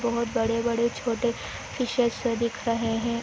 बहोत बड़े बड़े छोटे फिशेस दिख रहे हे --